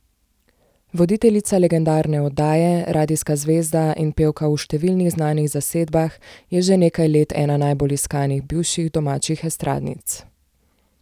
Voditeljica legendarne oddaje, radijska zvezda in pevka v številnih znanih zasedbah je že nekaj let ena najbolj iskanih bivših domačih estradnic.